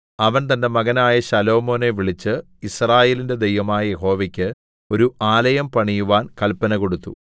അവൻ തന്റെ മകനായ ശലോമോനെ വിളിച്ച് യിസ്രായേലിന്റെ ദൈവമായ യഹോവയ്ക്ക് ഒരു ആലയം പണിയുവാൻ കല്പന കൊടുത്തു